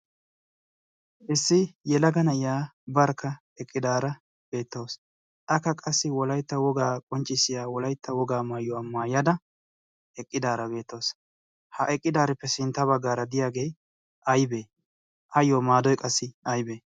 issi yelagana iyaa barkka eqqidaara beettoos akka qassi wolaitta wogaa qonccissiya wolaitta wogaa maayyuwaa maayyada eqqidaara beettoos. ha eqqidaarippe sintta baggaara diyaagee aybee ayyo maadoi qassi aybee?